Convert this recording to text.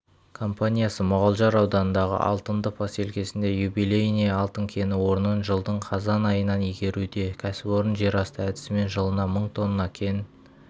компаниясы мұғалжар ауданындағы алтынды поселкесінде юбилейное алтын кені орнын жылдың қазан айынан игеруде кәсіпорын жер асты әдісімен жылына мың тонна кен